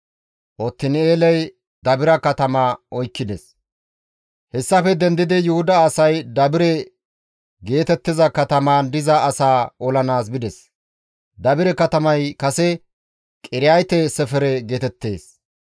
Hessafe dendidi Yuhuda asay Dabire geetettiza katamaan diza asaa olanaas bides; Dabire katamay kase, «Qiriyaate-Sefere» geetettees.